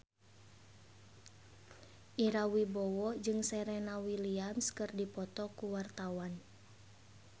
Ira Wibowo jeung Serena Williams keur dipoto ku wartawan